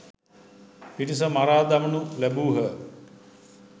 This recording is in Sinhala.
පිරිස මරා දමනු ලැබූහ.